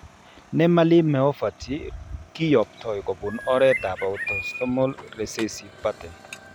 Nemaline myopathy kiyoptoi kobun oretab autosomal recessive pattern.